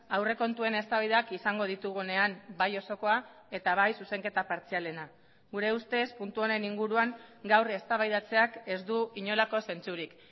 aurrekontuen eztabaidak izango ditugunean bai osokoa eta bai zuzenketa partzialena gure ustez puntu honen inguruan gaur eztabaidatzeak ez du inolako zentzurik